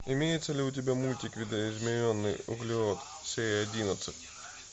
имеется ли у тебя мультик видоизмененный углерод серия одиннадцать